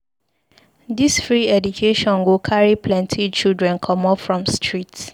Dis free education go carry plenty children comot from street.